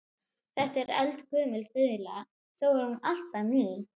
Þetta er eldgömul þula þó er hún alltaf ný.